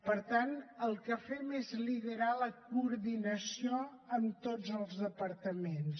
per tant el que fem és liderar la coordinació amb tots els departaments